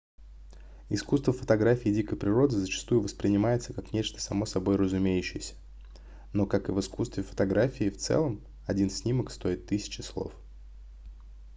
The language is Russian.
искусство фотографии дикой природы зачастую воспринимается как нечто само собой разумеющееся но как и в искусстве фотографии в целом один снимок стоит тысячи слов